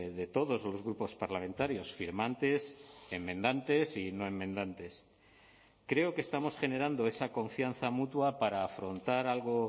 de todos los grupos parlamentarios firmantes enmendantes y no enmendantes creo que estamos generando esa confianza mutua para afrontar algo